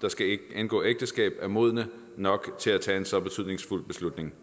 der skal indgå ægteskab er modne nok til at tage en så betydningsfuld beslutning